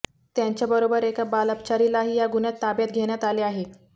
त्यांच्याबरोबर एका बालअपचारीलाही या गुन्ह्यात ताब्यात घेण्यात आले आहे